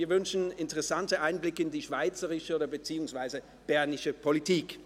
Wir wünschen einen interessanten Einblick in die schweizerische beziehungsweise bernische Politik.